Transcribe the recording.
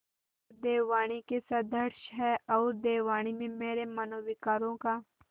वह देववाणी के सदृश हैऔर देववाणी में मेरे मनोविकारों का